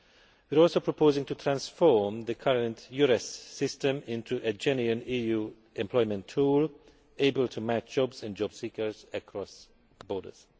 We are also proposing to transform the current EURES system into a genuine EU employment tool able to match jobs and jobseekers across borders.